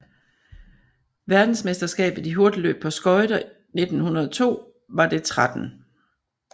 Verdensmesterskabet i hurtigløb på skøjter 1902 var det 13